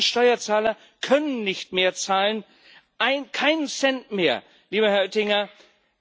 Deutschlands Steuerzahler können nicht mehr zahlen, keinen Cent mehr, lieber Herr Oettinger.